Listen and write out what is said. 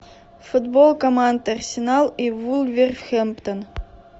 футбол команд арсенал и вулверхэмптон